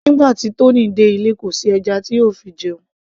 nígbà tí Tony dé ilé kò sí ẹja tí yóò fi jẹun